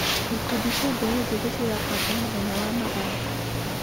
Ikundi cia mbeũ njĩthĩ cirabanga mũthenya wa mathako.